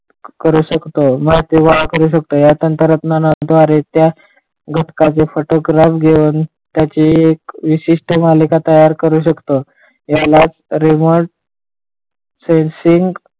करू शकतो माहिती गोळा करू शकतो त्या घटकाचे घेऊन त्याची विशिष्ठ मालिका तयार करू शकतो यालाच रिमोट सेन्सिंग,